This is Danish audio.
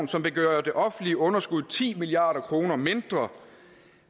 som vil gøre det offentlige underskud ti milliard kroner mindre og